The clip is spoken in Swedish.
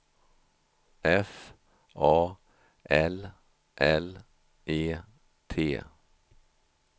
F A L L E T